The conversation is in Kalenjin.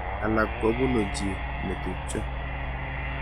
Alak kobunu chi netubjo.